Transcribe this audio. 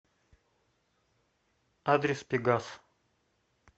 адрес пегас